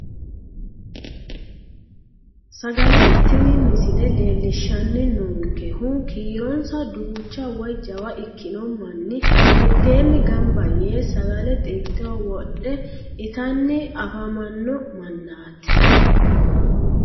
Sagale tini misile leellishshanni noonkehu kiironsa duucha woyi jawa ikkino manni mitteenni gamba yee sagale xilteho wodhe itanni afamanno mannaati